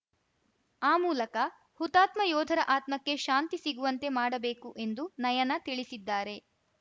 ಆ ಮೂಲಕ ಹುತಾತ್ಮ ಯೋಧರ ಆತ್ಮಕ್ಕೆ ಶಾಂತಿ ಸಿಗುವಂತೆ ಮಾಡಬೇಕು ಎಂದು ನಯನ ತಿಳಿಸಿದ್ದಾರೆ